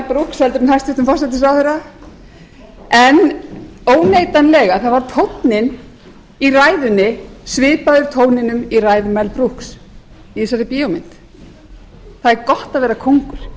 heldur en hæstvirtur forsætisráðherra en óneitanlega var tónninn í ræðunni svipaður tóninum í ræðu mel brooks í þessari bíómynd það er gott að vera kóngur